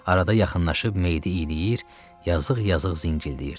Arada yaxınlaşıb meyidi iyləyir, yazıq-yazıq zingildəyirdi.